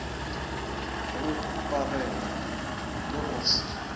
go huparela le go se